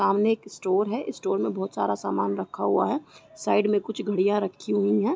सामने एक स्टोर है। स्टोर में बोहोत सारा सामान रखा हुआ है। साइड में कुछ घड़ियाँ रखी हुईं हैं।